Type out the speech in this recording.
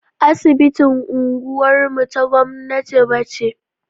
Asibitin unguwar mu ta gwamnati ba ce.